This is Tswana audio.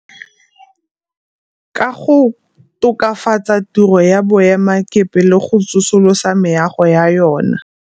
Ka go tokafatsa tiro ya boema kepe le go tsosolosa meago ya yona.